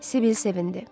Sibil sevindi.